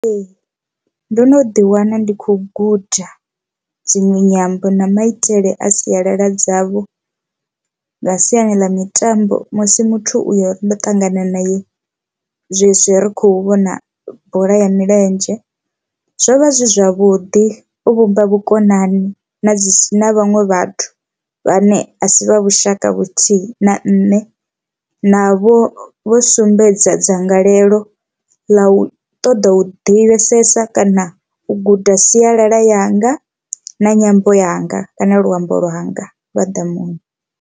Ee, ndo no ḓi wana ndi khou guda dzinwe nyambo na maitele a sialala dzavho nga siani ḽa mitambo musi muthu uyo uri ndo ṱangana nae zwezwi ri khou vhona bola ya milenzhe. Zwo vha zwi zwavhuḓi u vhumba vhukonani na dzi si na vhaṅwe vhathu vhane a si vha vhushaka vhuthihi na nne navho vho sumbedza dzangalelo ḽa u ṱoḓa u divhesesa kana u guda sialala yanga na nyambo yanga kana luambo lwanga lwa ḓamuni.